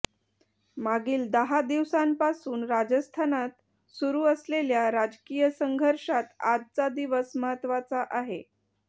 मागील दहा दिवसांपासून राजस्थानात सुरु असलेल्या राजकीय संघर्षात आजचा दिवस महत्वाचा आहे